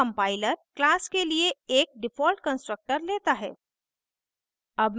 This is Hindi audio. तो compiler class के लिए एक default constructor लेता है